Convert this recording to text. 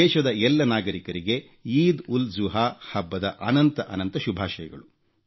ದೇಶದ ಎಲ್ಲ ನಾಗರಿಕರಿಗೆ ಈದ್ ಉಲ್ ಜುಹಾ ಹಬ್ಬದ ಅನಂತ ಅನಂತ ಶುಭಾಷಯಗಳು